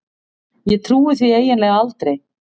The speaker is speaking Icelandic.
Ég trúi því eiginlega aldrei.